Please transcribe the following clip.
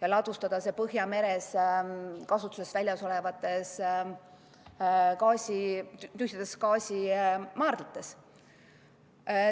ja ladustada selle Põhjameres asuvatesse kasutusest väljas olevatesse tühjadesse gaasimaardlatesse.